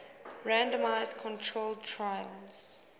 randomized controlled trials